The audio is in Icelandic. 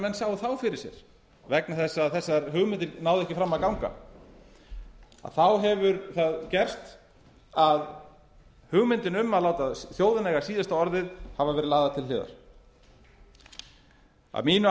menn sjá þá fyrir sér vegna þess að þessar hugmyndir náðu ekki fram að ganga þá hefur það gerst að hugmynd um að láta þjóðina eiga síðasta orðið hafa verið lagðar til hliðar að mínu